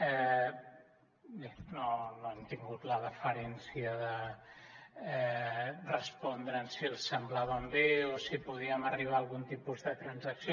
bé no han tingut la deferència de respondre’ns si els semblaven bé o si podíem arribar a algun tipus de transacció